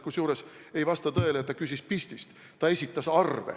Kusjuures ei vasta tõele, et ta küsis pistist – ta esitas arve.